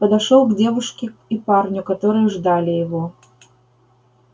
подошёл к девушке и парню которые ждали его